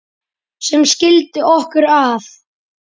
sem skildi okkur að